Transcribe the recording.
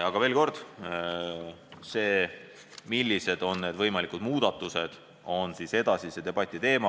Aga veel kord, see, millised on võimalikud muudatused, on edasise debati teema.